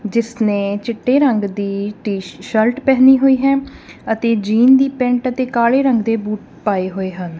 ਜਿਸ ਨੇ ਚਿੱਟੇ ਰੰਗ ਦੀ ਟੀ ਸ਼ਰਟ ਪਹਿਨੀ ਹੋਈ ਹੈ ਅਤੇ ਜੀਨ ਦੀ ਪੈਂਟ ਅਤੇ ਕਾਲੇ ਰੰਗ ਦੇ ਬੂਟ ਪਾਏ ਹੋਏ ਹਨ।